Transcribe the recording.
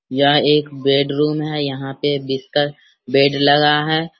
यह एक bedroom है यहां पे एक बिस्तर बेड लगा है।